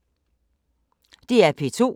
DR P2